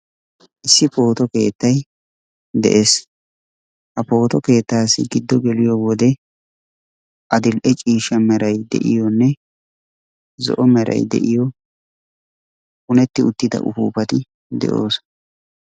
Issi pooto keettay de'es. Ha pooto keettaassi giddo geliyo wode adil'e ciishsha meray de'iyonne zo'o meray de'iyo punetti uttida upuupati de'oosona.